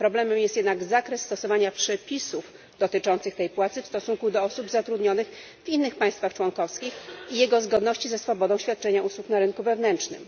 Problemem jest jednak zakres stosowania przepisów dotyczących tej płacy w stosunku do osób zatrudnionych w innych państwach członkowskich i jego zgodności ze swobodą świadczenia usług na rynku wewnętrznym.